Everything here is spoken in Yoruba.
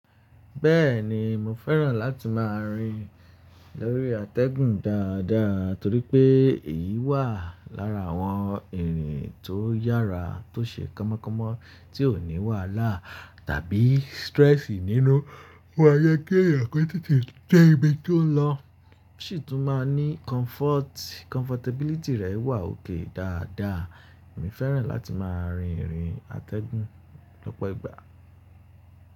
Bẹ́ẹ̀ni mo fẹ́ràn láti máa rìn lórí atẹ́gùn dáadáa torí pé èyí wà lára àwọn ìrìn tó yára, tó ṣe kánmọ́kánmọ́, tí ó ní wàhálà tàbí stress nínú. Ó máa jẹ kí èèyàn kó tete dẹ́ ibi tó ń lọ ṣì tún máa ní comfort, comfortability rẹ̀ wà òkè dáadáa. Èmi fẹ́ràn láti máa rìn ìrìn atẹ́gùn lọ́pọ̀ ìgbà.